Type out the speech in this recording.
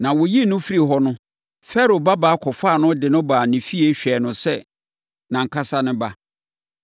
na wɔyii no firii hɔ no, Farao babaa kɔfaa no de no baa ne fie hwɛɛ no sɛ nʼankasa ne ba.